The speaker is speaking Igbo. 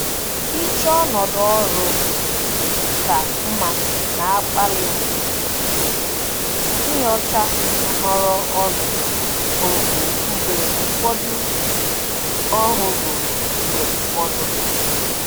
Ịchọ ọnọdụ ọrụ ka mma na-akpali m inyocha nhọrọ ọrụ ọhụrụ mgbe ụfọdụ. ọhụrụ mgbe ụfọdụ.